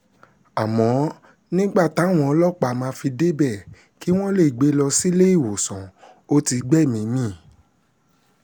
àmọ́ nígbà táwọn ọlọ́pàá máa fi débẹ̀ kí wọ́n lè gbé e lọ sílé ìwòsàn ò ti gbẹ́mìí mì